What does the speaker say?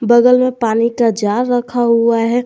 बगल में पानी का जार रखा हुआ है।